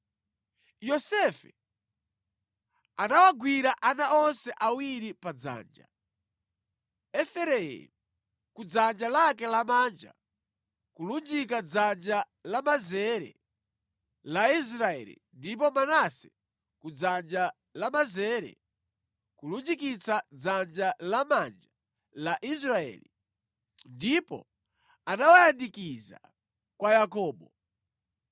Yosefe anawagwira ana onse awiri padzanja, Efereimu ku dzanja lake lamanja kulunjika dzanja lamanzere la Israeli ndipo Manase ku dzanja lamanzere kulunjikitsa dzanja lamanja la Israeli, ndipo anawayandikiza kwa Yakobo.